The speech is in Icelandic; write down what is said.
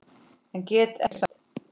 En get ekkert sagt.